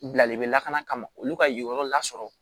Bilalen bɛ lakana kama olu ka yen yɔrɔ la sɔrɔ